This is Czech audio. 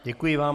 Děkuji vám.